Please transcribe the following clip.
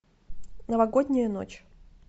новогодняя ночь